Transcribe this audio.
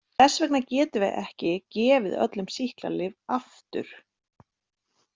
Þess vegna getum við ekki gefið öllum sýklalyf alltaf.